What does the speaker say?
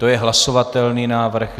To je hlasovatelný návrh.